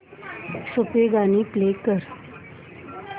सूफी गाणी प्ले कर